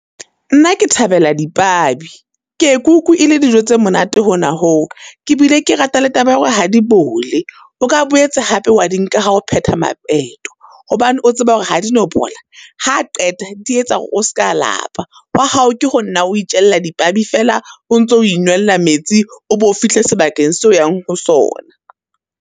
Nna ke thabela dipabi, ke ye ke utlwi e le dijo tse monate hona ho. Ke bile ke rata le taba ya hore ha di bole. O ka boetse hape wa di nka ha o pheta , hobane o tseba hore ha di no bola. Ha a qeta di etsa hore o ska lapa, hwa hao ke ho nna o itjella dipabi fela o ntso o inwella metsi, o bo o fihle sebakeng seo o yang ho sona.